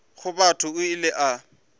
wa batho o ile a